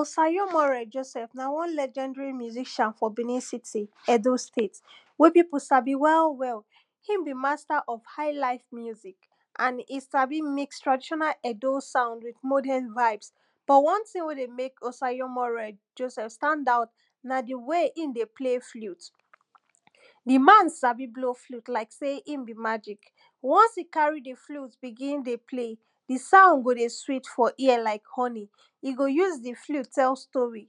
osayo more Joseph na one legendary musician for Benin city Edo State wey people sabi well well him be master of highlife music and him sabi make traditional Edo sound wit modern vibe but one tin way dey make Osayo more standout na di way him dey play flute di man sabi blow flute like say him be magic once e carry di flute begin dey play di sound go dey sweet for ear like honey e go use di flute tell story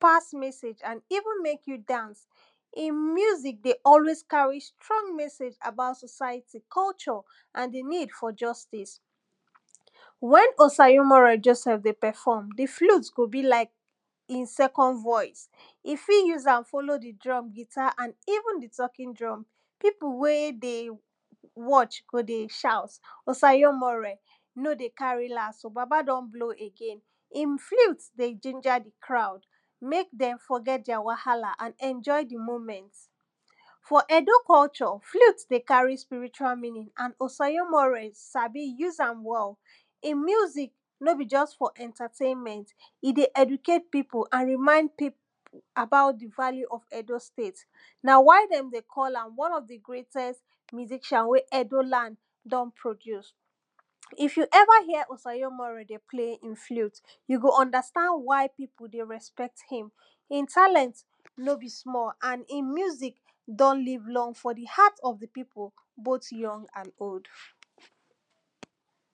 pass message and even make you dance him music dey always carry strong message about society, culture and di need for justice wen Osayo more dey perform di flute go bi like him second voice e fit use am follow di drum, guitar and even talking drum people way dey watch go dey sound Osayo more no dey carry last baba don blow again him flute dey jinja di crowd make dem forget their wahala and enjoy di moment for Edo culture flute dey carry spiritual meaning and Osayo more sabi use am well him music no be just for entertainment e dey educate people and remind people about di value of Edo State na why dem dey call am one of di great musician way Edo land don produce if you ever hear Osayo more dey play him flute you go understand why people dey respect him him talent no be small and him music don live long for di heart of di people both young and old.